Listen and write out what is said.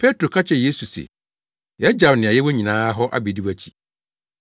Petro ka kyerɛɛ Yesu se, “Yagyaw nea yɛwɔ nyinaa hɔ abedi wʼakyi.”